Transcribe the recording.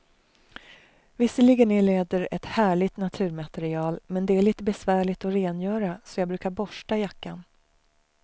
Visserligen är läder ett härligt naturmaterial, men det är lite besvärligt att rengöra, så jag brukar borsta jackan.